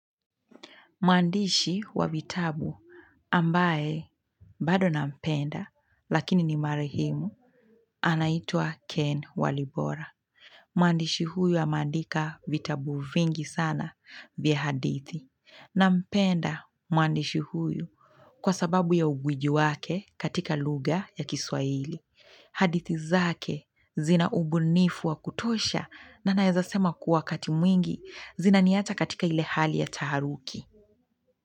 Mwandishi wa vitabu ambaye, bado na mpenda, lakini ni marehemu, anaitwa Ken Walibora. Mwandishi huyu ameandika vitabu vingi sana vya hadithi. Nampenda mwandishi huyu kwa sababu ya ugwiji wake katika lugha ya kiswahili. Hadithi zake zina ubunifu wa kutosha na naezasema kuwa wakatimwingi zina niacha katika ile hali ya taharuki.